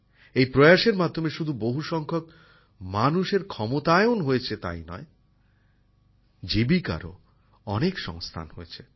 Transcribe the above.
এই প্রয়াসের মাধ্যমে শুধু বহু সংখ্যক মানুষের ক্ষমতায়ন হয়েছে তাই নয় জীবিকারও অনেক সংস্থান হয়েছে